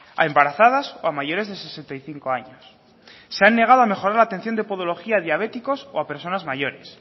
a embarazadas o a mayores de sesenta y cinco años se han negado a mejorar la atención de podología a diabéticos o a personas mayores